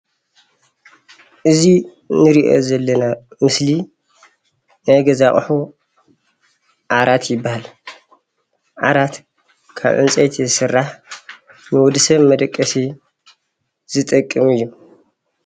እዚ እንሪኦ ዘለና ምስሊ ናይ ገዛ ኣቁሑ ዓራት ይበሃል። ዓራት ካብ ዕንፀይቲ ዝስራሕ ንወድሰብ መደቀሲ ዝጠቅም እዩ።